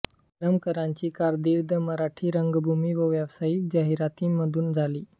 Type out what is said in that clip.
करमरकरांची कारकीर्द मराठी रंगभूमी व व्यावसायिक जाहिरातींमधून झाली